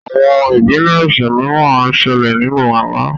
Àwọn ìpilẹṣẹ mìràn ńṣele ninù àlà.